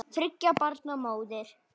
Þriggja barna móðir.